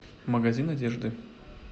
магазин одежды